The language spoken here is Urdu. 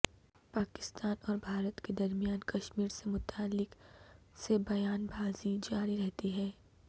پاکستان اور بھارت کے درمیان کشمیر سے متعلق سے بیان بازی جار رہتی ہے